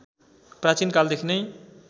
प्राचीन कालदेखि नै